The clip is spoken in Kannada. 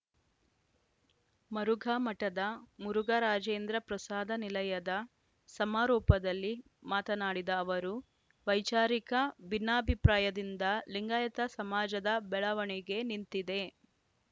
ಮರುಘಾಮಠದ ಮುರುಘರಾಜೇಂದ್ರ ಪ್ರಸಾದ ನಿಲಯದ ಸಮಾರೋಪದಲ್ಲಿ ಮಾತನಾಡಿದ ಅವರು ವೈಚಾರಿಕ ಭಿನ್ನಾಭಿಪ್ರಾಯದಿಂದ ಲಿಂಗಾಯತ ಸಮಾಜದ ಬೆಳವಣಿಗೆ ನಿಂತಿದೆ